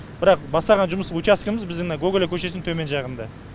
бірақ бастаған жұмыс учаскеміз біздің мына гоголя көшесінің төмен жағында